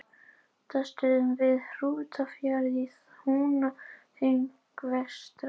Kýr í fjósi á Bessastöðum við Hrútafjörð í Húnaþingi vestra.